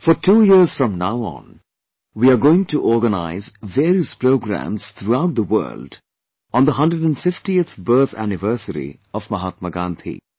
For two years from now on, we are going to organise various programmes throughout the world on the 150th birth anniversary of Mahatma Gandhi